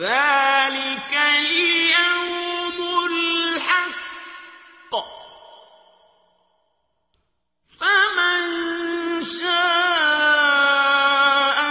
ذَٰلِكَ الْيَوْمُ الْحَقُّ ۖ فَمَن شَاءَ